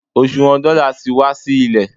oṣuwọn dọ́là ti wá sílẹ̀